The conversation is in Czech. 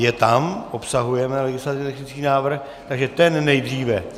Je tam, obsahuje legislativně technický návrh, takže ten nejdříve.